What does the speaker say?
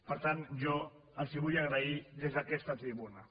per tant jo els ho vull agrair des d’aquesta tribuna